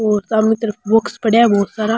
और सामने तरफ बुक्स पड़या है बोहोत सारा।